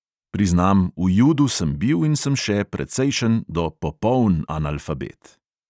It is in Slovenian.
Priznam, v judu sem bil in sem še precejšen do popoln analfabet.